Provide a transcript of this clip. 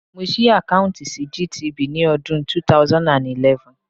Mo ṣí àkáùntì sí GTB ní ọdún 2011.